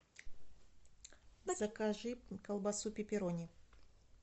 закажи колбасу пепперони